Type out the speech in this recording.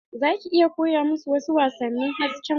Za ki iya koya musu wasu wasannin hasken wata?